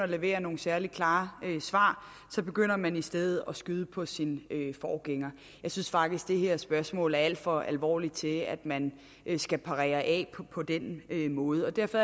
levere nogen særlig klare svar begynder man i stedet at skyde på sin forgænger jeg synes faktisk at det her spørgsmål er alt for alvorligt til at man skal parere af på den måde og derfor